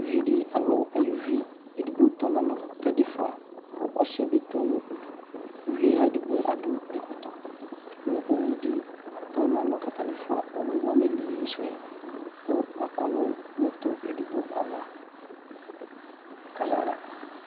ʋvidi alʋ ayʋvi ɛdigbo tɔ nalɔ kɛdigbo ƒʋa kʋ ɔsiɛ tɔ nʋ ʋdʋ kʋ ʋvie adʋ ɛkɔtɔ kʋ ʋwʋdi tɔ nalɔ kʋ atani ƒʋa mʋ ameliyi sʋɛ kʋ akɔnʋ NA edigbo ayava kayaha